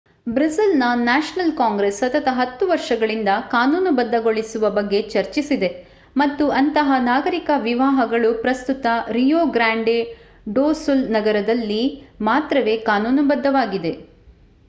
ಬ್ರೆಜಿಲ್‌ನ national congress ಸತತ 10 ವರ್ಷಗಳಿಂದ ಕಾನೂನುಬದ್ಧಗೊಳಿಸುವ ಬಗ್ಗೆ ಚರ್ಚಿಸಿದೆ ಮತ್ತು ಅಂತಹ ನಾಗರಿಕ ವಿವಾಹಗಳು ಪ್ರಸ್ತುತ ರಿಯೊ ಗ್ರಾಂಡೆ ಡೊ ಸುಲ್ ನಗರದಲ್ಲಿ ಮಾತ್ರವೇ ಕಾನೂನುಬದ್ಧವಾಗಿವೆ